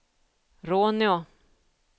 Råneå